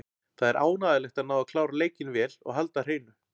Það er ánægjulegt að ná að klára leikinn vel og halda hreinu.